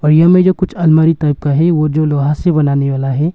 और यहां में जो कुछ आलमारी टाइप का है वो जो लोहा से बनाने वाला है।